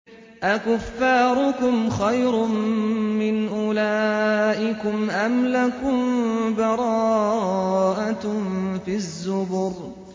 أَكُفَّارُكُمْ خَيْرٌ مِّنْ أُولَٰئِكُمْ أَمْ لَكُم بَرَاءَةٌ فِي الزُّبُرِ